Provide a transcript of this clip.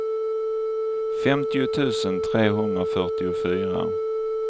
femtio tusen trehundrafyrtiofyra